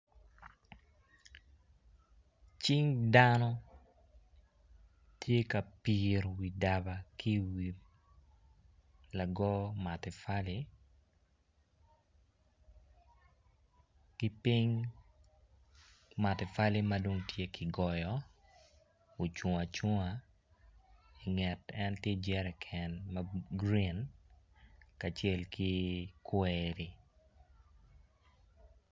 Cing dano tye ka piro i wi daba lago matapali kiping matapali madong tye makigoyo ocungo acunga inget en tye jeriken ma green kacel ki kweri.